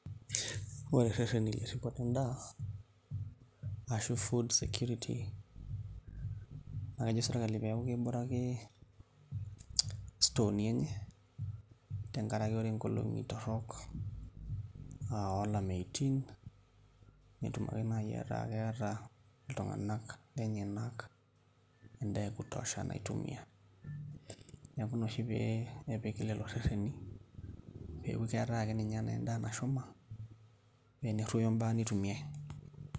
Ore irereni lerripoto endaa ashu food security naa kejo sirkali peeku kebore ake stooi enye tenkaraki ore nkolong' torrok oolameyutin netum ake naai aaku keeta iltung'anak lenyenak endaa e kutosha naitumia. Neeku ina oshi pee epiki lelo rereni peeku keetai naa ake ninye endaa nashuma pee eneruoyo imbaa nitumiai.